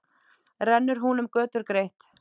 Rennur hún um götur greitt.